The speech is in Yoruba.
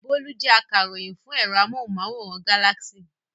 Bólú jẹ́ akaròyìn fún ẹ̀rọ amóhùmáwòhán Galaxy.